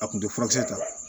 A kun tɛ furakisɛ ta ye